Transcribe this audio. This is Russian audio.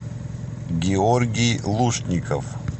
георгий лушников